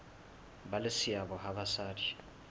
ba le seabo ha basadi